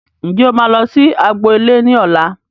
Ǹjẹ́ o máa lọ sí agbo ilé ní ọ̀la